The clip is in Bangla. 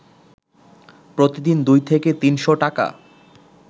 প্রতিদিন দুই থেকে তিনশ টাকা